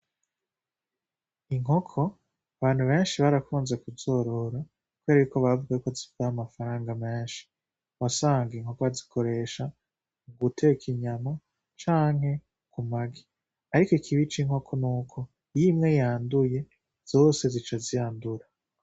Inkoko abantu benshi barakunze kuzorora kubera ko bavuga ko zidatwara amafaranga menshi, wasanga inkoko bazikoresha mu guteka inyama canke ku magi, ariko ikibi c'inkoko nuko iyo imwe yanduye zose zica zandura.